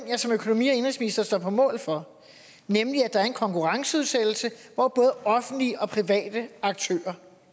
jeg som økonomi og indenrigsminister står på mål for nemlig at der er en konkurrenceudsættelse hvor både offentlige og private aktører